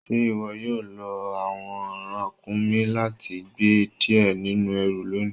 Ṣe iwo yóò lọ awọn rakúmí láti gbẹ́ díẹ̀ nínu èrú lónì?